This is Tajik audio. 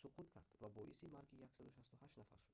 суқут кард ва боиси марги 168 нафар шуд